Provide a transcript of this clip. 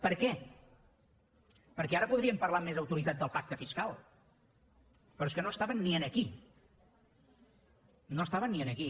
per què perquè ara podríem parlar amb més autoritat del pacte fiscal però és que no estaven ni aquí no estaven ni aquí